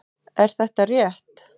Er þetta rétt?